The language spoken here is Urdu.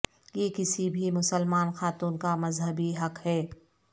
یہ کسی بھی مسلمان خاتون کا مذہبی حق ہے